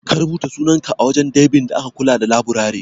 Ka rubuta sunanka a wajen daibin da ke kula da laburare?